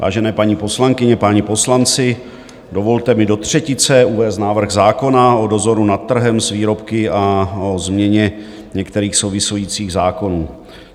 Vážené paní poslankyně, páni poslanci, dovolte mi do třetice uvést návrh zákona o dozoru nad trhem s výrobky a o změně některých souvisejících zákonů.